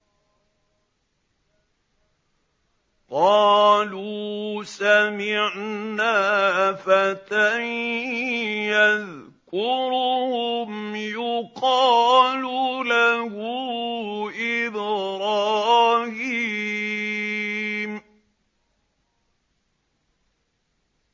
قَالُوا سَمِعْنَا فَتًى يَذْكُرُهُمْ يُقَالُ لَهُ إِبْرَاهِيمُ